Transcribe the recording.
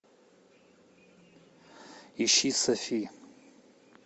ищи софи